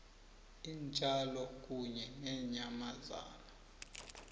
iintjalo kunye neenyamazana